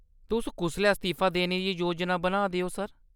तुस कुसलै अस्तीफा देने दी योजना बना दे ओ, सर ?